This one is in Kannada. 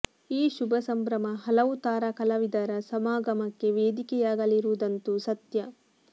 ಈ ಶುಭ ಸಂಭ್ರಮ ಹಲವು ತಾರಾ ಕಲಾವಿದರ ಸಮಾಗಮಕ್ಕೆ ವೇದಿಕೆಯಾಗಲಿರುವುದಂತೂ ಸತ್ಯ